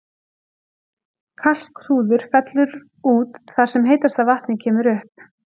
Kalkhrúður fellur út þar sem heitasta vatnið kemur upp.